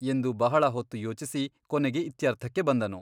ಎಂದು ಬಹಳ ಹೊತ್ತು ಯೋಚಿಸಿ ಕೊನೆಗೆ ಇತ್ಯರ್ಥಕ್ಕೆ ಬಂದನು.